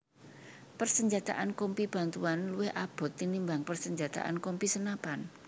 Persenjataan Kompi Bantuan luwih abot tinimbang persenjataan Kompi senapan